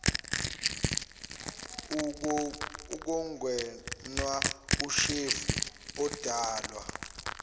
ukungenwa ushevu odalwa